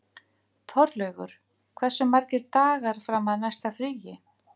Þorlaugur, hversu margir dagar fram að næsta fríi?